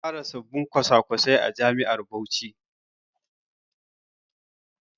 Za a fara sabbin kwasa-kwasai a jami'ar Bauchi.